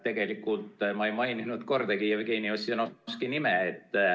Tegelikult ma ei maininud kordagi Jevgeni Ossinovski nime.